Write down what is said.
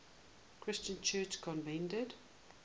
christian church convened